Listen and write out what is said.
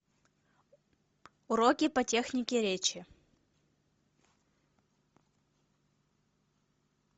уроки по технике речи